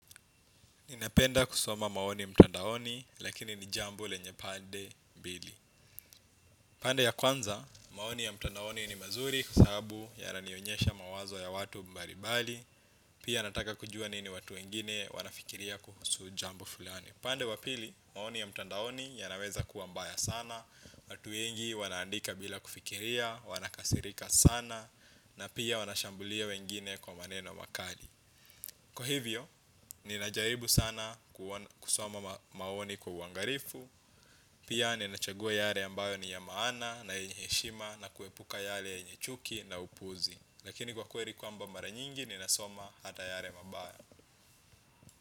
Ninapenda kusoma maoni mtandaoni, lakini ni jambo lenye pande mbili. Pande ya kwanza, maoni ya mtandaoni ni mazuri kwa sababu yananionyesha mawazo ya watu mbali mbali, pia nataka kujua nini watu wengine wanafikiria kuhusu jambo fulani. Pande wapili, maoni ya mtandaoni yanaweza kuwa mbaya sana, watu wengi wanaandika bila kufikiria, wanakasirika sana, na pia wanashambulia wengine kwa maneno makali. Kwa hivyo, ninajaribu sana kusoma maoni kwa uangalifu. Pia nina chagua yale ambayo ni ya maana na yenye heshima na kuepuka yale yenye chuki na upuzi. Lakini kwa kweli kwamba mara nyingi nina soma hata yale mabaya.